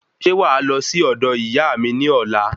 Ṣe wàá lọ si ọdọ Iyaami ni ọlá?